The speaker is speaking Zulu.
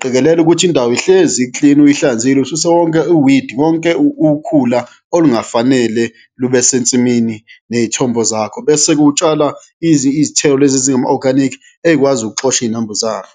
qikelela ukuthi indawo ihlezi iklin, uyihlanzile, ususe wonke i-weed, wonke ukhula olungafanele lube sentsimini ney'thombo zakho bese kutshala izithelo lezi ezingama-organic ey'kwazi ukuxosha iy'nambuzane.